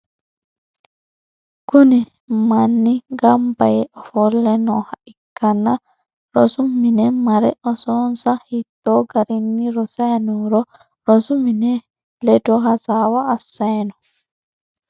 Kuni manni gamba yee ofolle nooha ikkanna risu mine mare osonsa hittoo garinni rosay nooro rosu mini ledo hasaawa assayino.